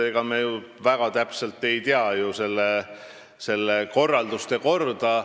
Ega me ju väga täpselt ei tea selle ürituse korralduse korda.